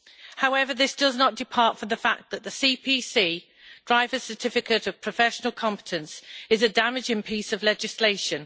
However, this does not depart from the fact that the CPC Driver Certificate of Professional Competence is a damaging piece of legislation.